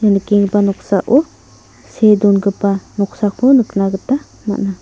ia nikenggipa noksao see dongipa noksako nikna gita man·a.